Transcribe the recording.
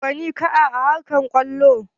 Waye gwanin ka a harkar kwallo?